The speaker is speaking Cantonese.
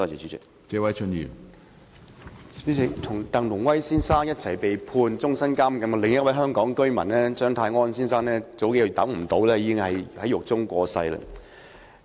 主席，與鄧龍威先生共同被判終身監禁的另一名香港居民張泰安先生，數月前已等不及上訴而在獄中過身。